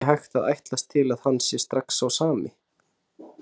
Það er ekki hægt að ætlast til að hann sé strax sá sami.